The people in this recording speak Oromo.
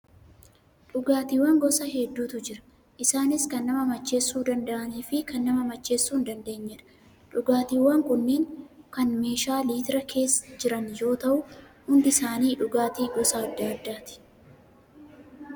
Dhugaatiiwwan gosa hedduutu jiru. Isaanis kan nama macheessuu danda'anii fi kan nama macheessuu hin dandeenyedha. Dhugaatiiwwan kunneen kan meeshaa litiraa keessa jiran yoo ta'u, hundi isaanii dhugaatii gosa adda addaati.